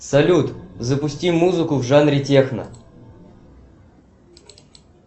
салют запусти музыку в жанре техно